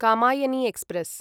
Kamayani express